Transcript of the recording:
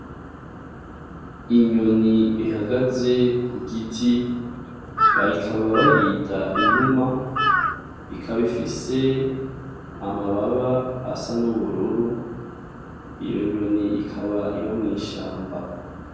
Inyoni ihagaze ku giti bayikaba bayita inuma ikaba ifise amababa asa n'ubururu iyo nyoni ikaba iba mwishamba.